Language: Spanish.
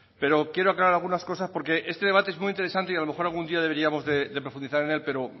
pero quiero aclarar algunas cosas porque este debate es muy interesante y a lo mejor algún día deberíamos de profundizar en él pero